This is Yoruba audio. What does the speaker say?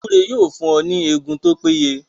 Gbúre yóò fún ọ ní Egun tó pé ye